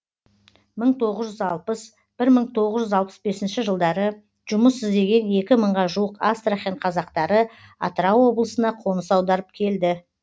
мың тоғыз жүз алпыс бір мың тоғыз жүз алпыс бесінші жылдары жұмыс іздеген екі мыңға жуық астрахан қазақтары атырау облысына қоныс аударып келді